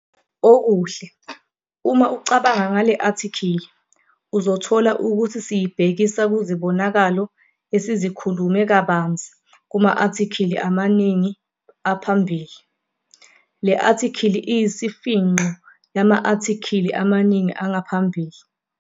Okuhle, uma ucabanga ngale-athikhili, uzothola ukuthi siyibhekisa kuzibonakalo esizikhulume kabanzi kuma-athikili amaningi aphambili. Le athikhili iyisifingqo yama athikhili amaningi angaphambili.